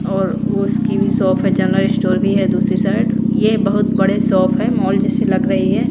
और उसकी भी शोफ है जनरल स्टोर भी है दूसरी साइड ये बहुत बड़े शोफ है मॉल जैसी लग रही है।